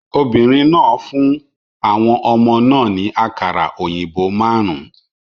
Obìnrin náà fún àwọn ọmọ náà ní àkàrà òyìnbó márùn-ún